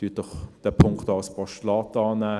Nehmen Sie diesen Punkt doch auch als Postulat an.